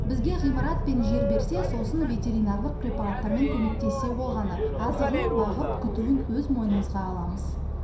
бізге ғимарат пен жер берсе сосын ветеринарлық препараттармен көмектессе болғаны азығын бағып күтуін өз мойнымызға аламыз